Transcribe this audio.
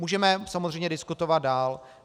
Můžeme samozřejmě diskutovat dál.